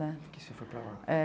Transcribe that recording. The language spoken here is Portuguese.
Né. Por que Você foi para lá? É